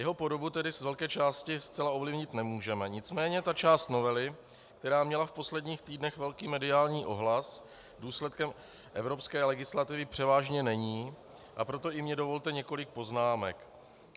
Jeho podobu tedy z velké části zcela ovlivnit nemůžeme, nicméně ta část novely, která měla v posledních týdnech velký mediální ohlas, důsledkem evropské legislativy převážně není, a proto i mně dovolte několik poznámek.